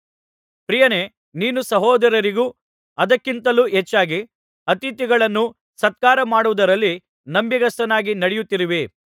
ಪ್ರಿಯನೇ ನೀನು ಸಹೋದರರಿಗೂ ಅದಕ್ಕಿಂತಲೂ ಹೆಚ್ಚಾಗಿ ಅತಿಥಿಗಳನ್ನು ಸತ್ಕಾರ ಮಾಡುವುದರಲ್ಲಿ ನಂಬಿಗಸ್ತನಾಗಿ ನಡೆಯುತ್ತಿರುವಿ